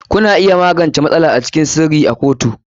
Kuna iya magance matsala a cikin sirri a kotu.